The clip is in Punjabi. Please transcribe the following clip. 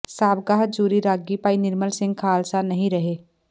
ਸਾਬਕਾ ਹਜ਼ੂਰੀ ਰਾਗੀ ਭਾਈ ਨਿਰਮਲ ਸਿੰਘ ਖਾਲਸਾ ਨਹੀਂ ਰਹੇ